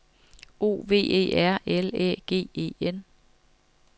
O V E R L Æ G E N